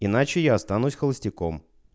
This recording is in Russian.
иначе я останусь холостяком